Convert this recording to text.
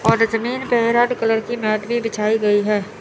और इसमें एक रेड कलर की मैट भी बिछाई गई है।